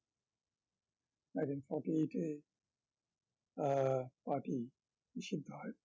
nineteen forty-eight এ আহ party নিষিদ্ধ হয়